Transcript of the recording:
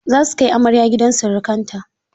Za su kai amarya gidan sirikanta.